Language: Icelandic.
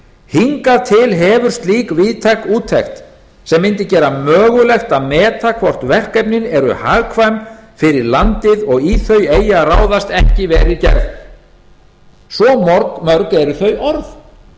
hingað til hefur slík víðtæk úttekt sem mundi gera mögulegt að meta hvort verkefnin eru hagkvæm fyrir landið og í þau eigi að ráðast ekki verið gerð svo mörg eru þau orð